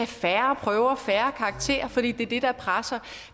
færre prøver færre karakterer for det er det der presser